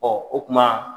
o kuma